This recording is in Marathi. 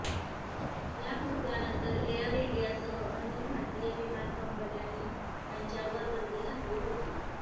या कृत्यानंतर एअर इंडियासह अन्य भारतीय विमान कंपन्यांनी त्यांच्यावर बंदी घातली होती